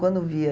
Quando via.